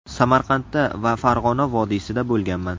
Samarqandda va Farg‘ona vodiysida bo‘lganman.